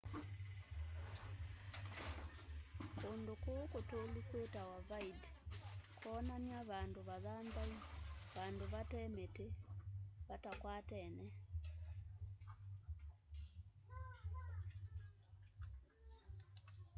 kundũ kũu kutũlu kwitawa vidde kwonania vandũ vathanthaũ vandũ vate miti vatakwatene